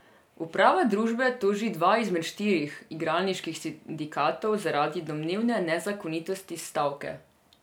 Uprava družbe toži dva izmed štirih igralniških sindikatov zaradi domnevne nezakonitosti stavke.